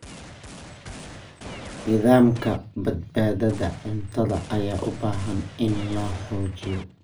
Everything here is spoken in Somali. Nidaamka badbaadada cuntada ayaa u baahan in la xoojiyo.